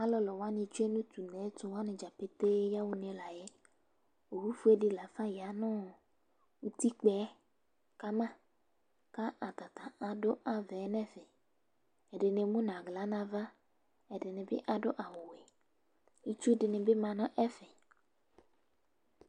alolowani tsue no to uneɛto wani dza ƒete yaɣa une la yɛ owu fue di lafa ya no utikpaɛ kama k'ata ta ado avaɛ n'ɛfɛ ɛdini emu n'ala n'ava ɛdini bi ado awu wɛ itsu dini bi ma n'ɛfɛ